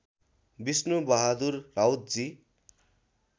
Vishnu Bahadur राउतजी